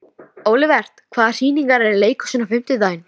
Þú lást hana og hún var ósátt, hváði Gizur.